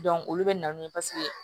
olu bɛ na n'u ye paseke